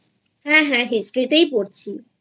হ্যাঁ হ্যাঁHistoryতেই পড়ছিI